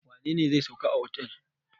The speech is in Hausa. Wane ne zai sauka a otel?